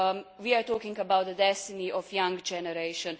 We are talking about the destiny of the young generation.